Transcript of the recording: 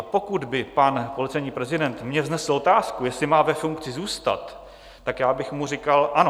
A pokud by pan policejní prezident mně vznesl otázku, jestli má ve funkci zůstat, tak já bych mu říkal ano.